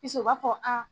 u b'a fɔ